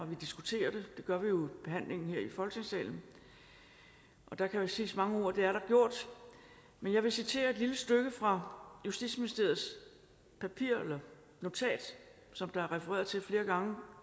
vi diskuterer det gør vi jo ved behandlingen her i folketingssalen der kan siges mange ord og det er der gjort men jeg vil citere et lille stykke fra justitsministeriets notat som der er refereret til flere gange